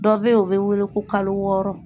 Dɔ bɛ ye u bɛ wele ko kalo wɔɔrɔ.